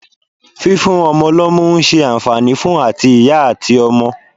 Fífún ọmọ lọ́mú ń ṣe àǹfààní fún àti ìyá àti ọmọ.